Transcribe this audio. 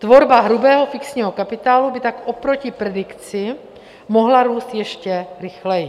Tvorba hrubého fixního kapitálu by tak oproti predikci mohla růst ještě rychleji.